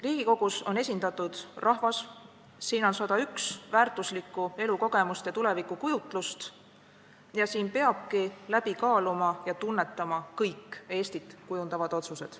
Riigikogus on esindatud rahvas, siin on 101 väärtuslikku elukogemust ja tulevikukujutlust ning siin peabki läbi kaaluma ja tunnetama kõik Eestit kujundavad otsused.